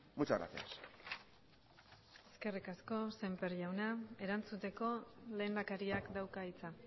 muchas gracias eskerrik asko sémper jauna erantzuteko lehendakariak dauka hitza